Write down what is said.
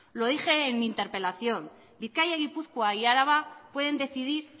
lo dije en mi interpelación bizkaia gipuzkoa y araba pueden decidir